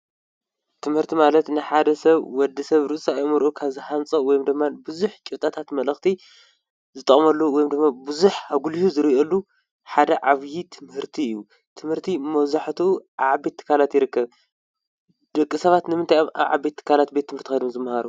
ትምህርቲ ማለት ንሓደ ሰብ ወዲ ሰብ ርእሳኤምርዑ ካዝሓንጸ ወም ዶማን ብዙኅ ጭብጣታት መለኽቲ ዝጣመሉ ወይምዶመ ብዙኅ ኣጕልዩ ዝርኦሉ ሓደ ዓብዪ ትምህርቲ እዩ ትምህርቲ መወዛሕቱ ዓቤትካላት ይርከ ደቂ ሰባት ንምንትኣብ ኣ ዓቤትካላት ቤት ትምህርቲ ኣዶም ዝመሃሩ?